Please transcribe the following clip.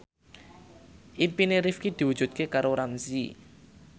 impine Rifqi diwujudke karo Ramzy